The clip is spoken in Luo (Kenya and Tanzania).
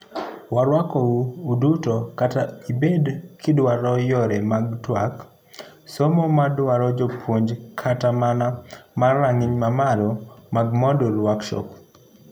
Waruakou uduto kata ibed kiduaro yore mag tuak, somo maduaro jopuonj kata mana mar rang'iny mamalo mag Moodle Workshop.